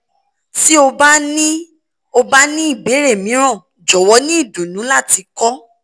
ti o ba ni o ba ni ibeere miiran jọwọ ni idunnu lati kọ